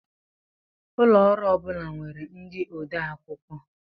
Ụlọ ọrụ ọ bula nwèrè ndị ode akwụkwọ